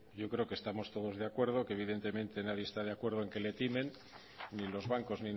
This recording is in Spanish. yo creo que estamos todos de acuerdo que evidentemente nadie está de acuerdo en que le timen ni los bancos